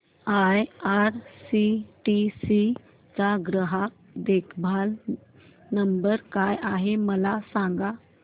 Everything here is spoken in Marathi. आयआरसीटीसी चा ग्राहक देखभाल नंबर काय आहे मला सांग